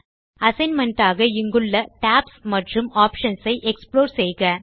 assignment ஆக இங்குள்ள tabs மற்றும் ஆப்ஷன்ஸ் ஐ எக்ஸ்புளோர் செய்க